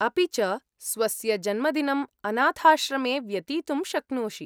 अपि च, स्वस्य जन्मदिनम् अनाथाश्रमे व्यतीतुं शक्नोषि।